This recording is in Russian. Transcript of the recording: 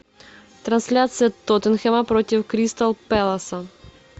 трансляция тоттенхэма против кристал пэласа